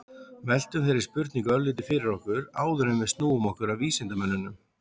veltum þeirri spurningu örlítið fyrir okkur áður en við snúum okkur að vísindamönnunum